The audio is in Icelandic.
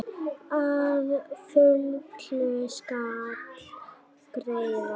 Að fullu skal greiða: